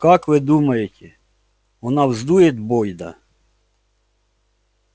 как вы думаете она вздует бойда